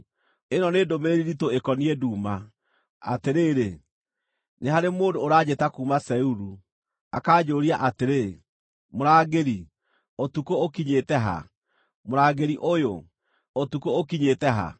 Ĩno nĩ ndũmĩrĩri nditũ ĩkoniĩ Duma: Atĩrĩrĩ, nĩ harĩ mũndũ ũraanjĩta kuuma Seiru, akanjũũria atĩrĩ, “Mũrangĩri, ũtukũ ũkinyĩte ha? Mũrangĩri ũyũ, ũtukũ ũkinyĩte ha?”